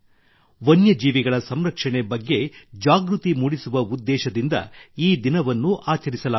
ವನ್ಯಜೀವಿಗಳ ಸಂರಕ್ಷಣೆ ಬಗ್ಗೆ ಜಾಗೃತಿ ಮೂಡಿಸುವ ಉದ್ದೇಶದಿಂದ ಈ ದಿನವನ್ನು ಆಚರಿಸಲಾಗುತ್ತದೆ